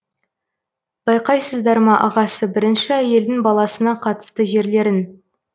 байқайсыздар ма ағасы бірінші әйелдің баласына қатысты жерлерін